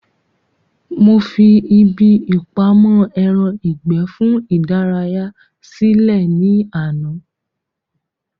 Mo fi ibi ìpamọ́ ẹran ìgbẹ́ fún ìdárayá sí lẹ̀ ní àná